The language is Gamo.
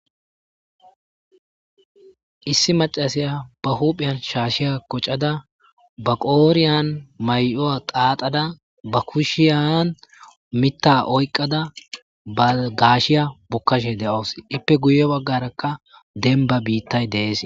Issi macasiya ba hupheyan shaashiya koccada baqooriyan may'oa qaatada ba kushiyan mitta oyqada ba gashiya bokkashe de'ous ippe guye baggarakka denba biittay dees.